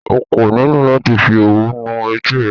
Okò nílò láti fi òwú nu etí rẹ.